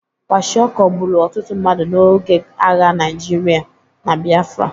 Kwashịokọ gburu ọtụtụ mmadụ n'oge agha Naịjirịa na Biafra.